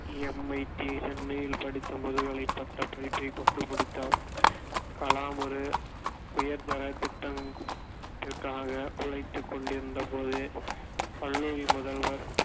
MIT சென்னையில் படித்த முதுகலை பட்ட படிப்பைக் கொண்டு முடித்தார் கலாம் ஒரு உயர்தரத் திட்டம்~ த்திற்காக உழைத்துக் கொண்டிருந்த போது கல்லூரி முதல்வர்